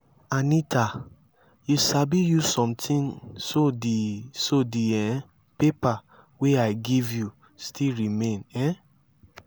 anita you sabi use something so the so the um paper wey i give you still remain um?